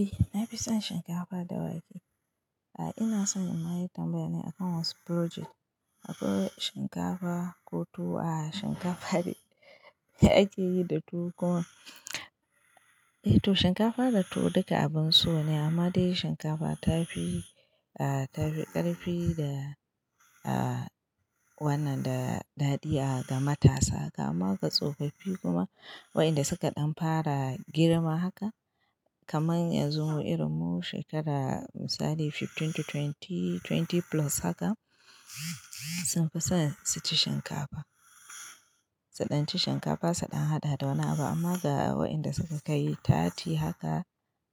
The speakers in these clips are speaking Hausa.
Eh nafi son shinkafa da wake. A'a ina son in ma yi tambaya ne akan wasu project. Akwai shinkafa ko tuwo a shinkafa da ake yi da tuwo kuma. A toh shikafa da tuwo duka abun so ne ama dai shinkafa ta fi karfi da wannan dadaɗi a ga matasa gama tsofaffi kuma waɗanda suka ɗan fara girma haka kaman yanzu mu irin mu shekara misali fifteen to twenty plus haka sun fi son su ci shinkafa. Su dan ci shikafa su dan hada da wani abu ama da wa'inda suka kai thirty haka,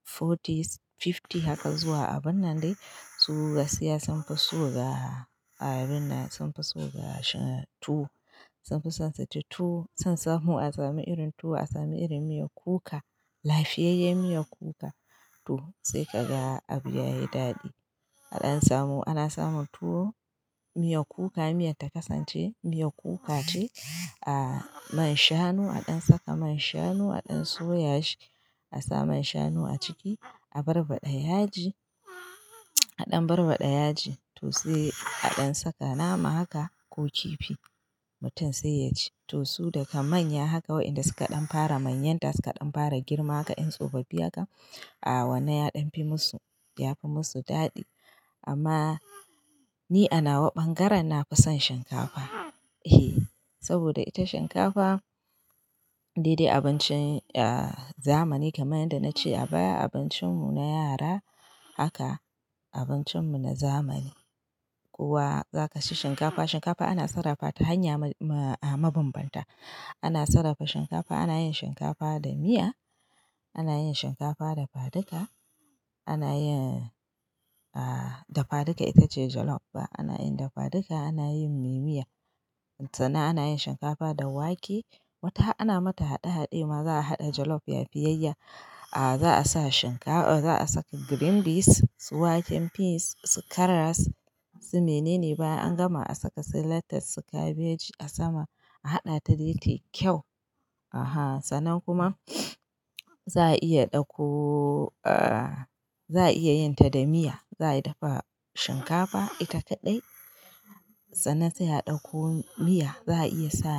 forty, fifty haka zuwa abun nan dai su gaskya sun fi so ga sun fi so ga tuwo, sun fi son su ci tuwo, a samu irin tuwo a samu irin miyan kuka, lafiyayen miyan kuka sai ka ga abu yayi dadi. A ɗan samu ana samun tuwo miyar kuka, miyan ta kasance miyar kuka ce a man shanu a ɗan saka man shanu a ɗan soya shi a sa man shanu a ciki a barbaɗa yaji a ɗan barbaɗa yaji toh sai a ɗan saka nama haka ko kifi mutum sai ya ci. Toh su daka manya haka waɗanda suka ɗan fara manyanta suka ɗan fara girma haka ƴan tsofaffi haka a wannan ya ɗan fi musu, ya fi musu daɗi. Amma ni a nawa bangaren nafi son shinkafa saboda ita shinkafa dai dai abincin zamani kamar yadda na ce a baya abincin mu na yara haka abincin mu na zamani. Ko wa zaka ci shinkafa, shinkafa ana sarrafa ta hanya mabanbanta. Ana sarrafa shinkafa, ana yin shinkafa da miya, ana yin shinkafa dafaduka, ana yin dafaduka itace jollof ba ana yin dafaduka ana yin me miya. Sana ana yin shinkafa da wake wata ana mata haɗe haɗe ma za a haɗa jollof yafi yayya. Za a sa shinkafa za a saka green beans su wake, peas su karas su mene ne baya an gama a saka sai lettuce su cabbage a sama a haɗa ta dai tayi kyau. Aha sannan kuma za a iya ɗauko. Za a iya yin ta da miya za a dafa shinkafa ita kaɗai sana sai a ɗauko miya za a iya sa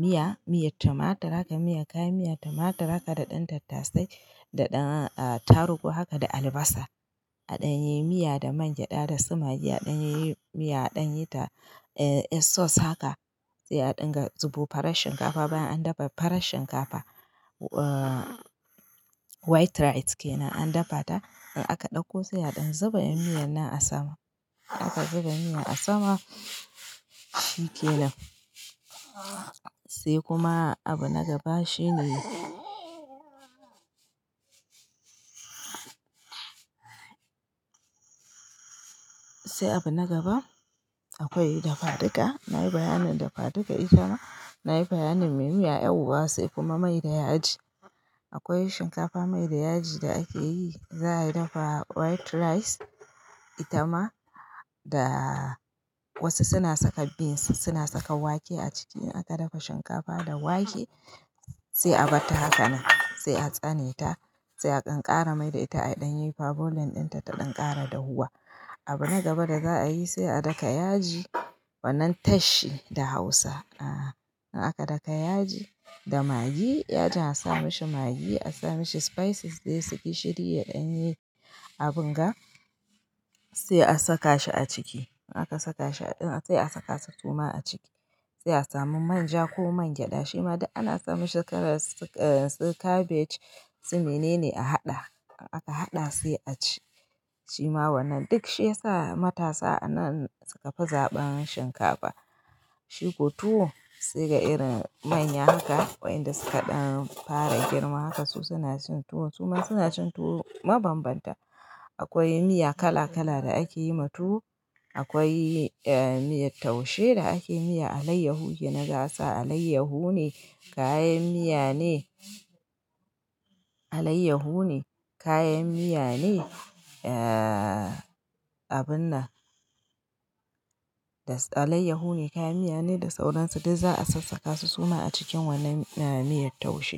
miya, miyar tumatur haka miya kayan miyar tumatur haka da ɗan tattasai da ɗan tarugu haka da albasa. A ɗan yi miya da man gyada da su magi a ɗan yi miya a ɗan yi ta sauce haka sai a ɗinga zubo farar shinkafa baya an dafa farar shinkafa white rice kenan an dafa ta. A ka ɗauko sai a ɗan zuba yan miyan nan a sama aka zuba miyan a sama shi kenan. Sai kuma abu na gaba shine sai abu na gaba akwai dafaduka. Nayi bayanin dafaduka itama nayi bayanin me miya ƴau ba sai kuma mai da yaji. Akwai shinkafa mai da yaji da ake yi za a yi dafa white rice ita ma da wasu suna saka beans suna saka wake a ciki in aka dafa shinkafa da wake sai a bar ta hakanan sai a tsane ta sai a ƙanƙara mai da ita a ɗan yi per boiling dinta ta ɗan ƙara dahuwa. Abu na gaba da za a yi sai a daka yaji wannan tashi da hausa. In aka daka yaji da magi yajin a sa mashi magi a sa mashi spices dai su gishiri ya ɗan yi abun ga sai a saka shi a ciki. In aka saka shi a ɗin sai a saka su suma a ciki sai a sami manja ko man gyada shi ma dai ana sa mashi karas su cabbage su mene ne a haɗa in aka haɗa sai a ci. Shi ma wannan duk shi yasa matasa a nan suka fi zaɓen shinkafa. Shi ko tuwo sai ga irin manyan haka wa'inda suka ɗan fara girmi haka su suna cin tuwo suma suna cin tuwo mabanbanta. Akwai miya kala kala da ake yi ma tuwo akwai miyar taushe da ake yi miya alayyahu yake na ga asa alayyahu ne kayan miya ne alayyahu ne kayan miya ne abun nan alayyahu ne kayan miya ne da sauransu duk za a sassaka su suma a cikin wannan miyar taushe.